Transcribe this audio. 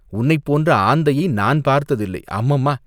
"உன்னைப் போன்ற ஆந்தையை நான் பார்த்ததில்லை அம்மம்மா!